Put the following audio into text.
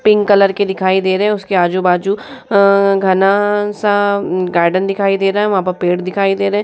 Pink colour के दिखाई दे रहे है उसके आजू-बाजू अ घना सा म गार्डन दिखाई दे रहा है वहाँ पर पेड़ दिखाई दे रहे।